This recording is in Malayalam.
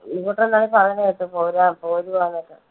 ഇങ്ങോട്ടെന്താണോ പറയുന്ന കേട്ടു പോരുവാ, പോരുവാന്നൊക്കെ.